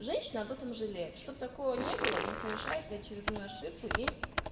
женщина об этом жалеет чтоб такого не было не совершайте очередную ошибку и